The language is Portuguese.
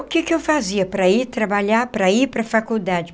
O que que eu fazia para ir trabalhar, para ir para a faculdade?